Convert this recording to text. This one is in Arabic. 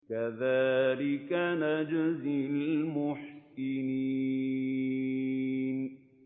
كَذَٰلِكَ نَجْزِي الْمُحْسِنِينَ